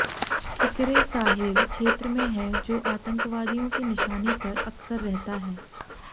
सिकिरे Sahel क्षेत्र में है जो आतंकवादियों के निशाने पर अक्सर रहता है